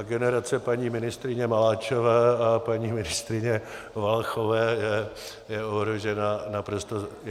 A generace paní ministryně Maláčové a paní ministryně Valachové je ohrožena naprosto zásadně.